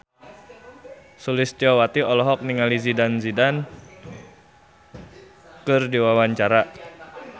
Sulistyowati olohok ningali Zidane Zidane keur diwawancara